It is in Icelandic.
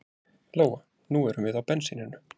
Lóa: Nú erum við á bensíninu?